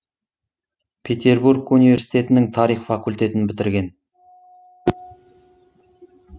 петербург университетінің тарих факультетін бітірген